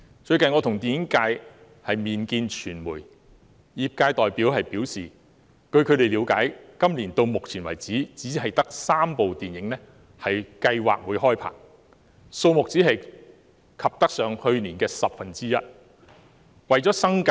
最近，我和電影界人士會見傳媒，業界代表表示，據他們了解，今年到目前為止只得3齣電影計劃開拍，數目只及去年的十分之一。